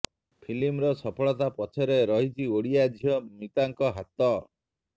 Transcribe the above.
ଫିଲ୍ମର ସଫଳତା ପଛରେ ରହିଛି ଓଡିଆ ଝିଅ ମିତାଙ୍କ ହାତ